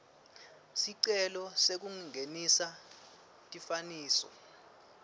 sicelo sekungenisa tifananiso